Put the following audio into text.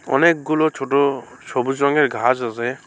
অনেকগুলো ছোট সবুজ রঙের ঘাস আছে।